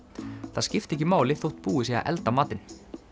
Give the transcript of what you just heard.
það skipti ekki máli þótt búið sé að elda matinn